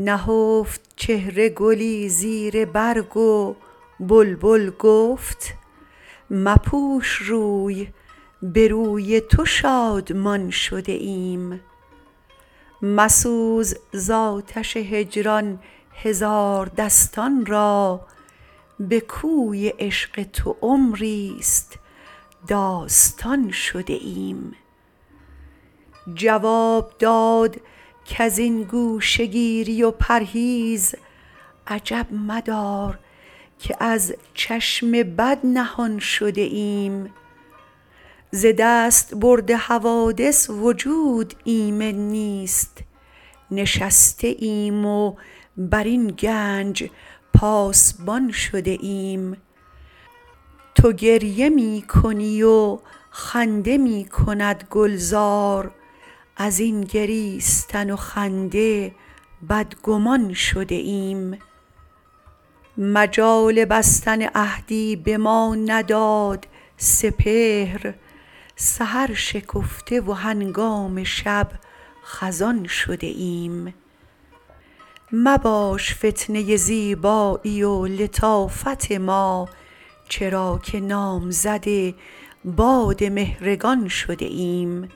نهفت چهره گلی زیر برگ و بلبل گفت مپوش روی به روی تو شادمان شده ایم مسوز ز آتش هجران هزار دستان را بکوی عشق تو عمری ست داستان شده ایم جواب داد کازین گوشه گیری و پرهیز عجب مدار که از چشم بد نهان شده ایم ز دستبرد حوادث وجود ایمن نیست نشسته ایم و بر این گنج پاسبان شده ایم تو گریه می کنی و خنده میکند گلزار ازین گریستن و خنده بد گمان شده ایم مجال بستن عهدی بما نداد سپهر سحر شکفته و هنگام شب خزان شده ایم مباش فتنه زیبایی و لطافت ما چرا که نامزد باد مهرگان شده ایم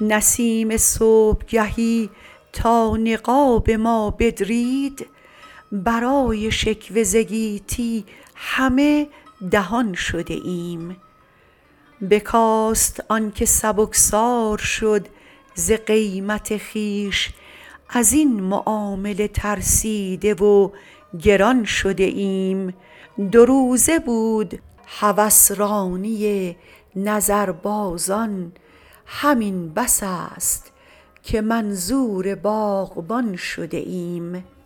نسیم صبحگهی تا نقاب ما بدرید برای شکوه ز گیتی همه دهان شده ایم بکاست آنکه سبکسار شد ز قیمت خویش ازین معامله ترسیده و گران شده ایم دو روزه بود هوسرانی نظربازان همین بس است که منظور باغبان شده ایم